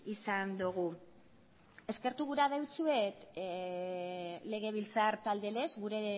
izan dugu eskertu gura dizuet legebiltzar talde lez gure